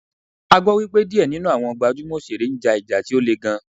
Agbo wípé diẹ ninu awọn gbajumo osere n ja ìjà ti o le gan.